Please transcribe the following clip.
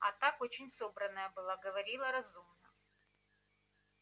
а так очень собранная была говорила разумно